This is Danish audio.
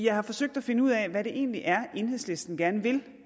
har forsøgt at finde ud af hvad det egentlig er enhedslisten gerne vil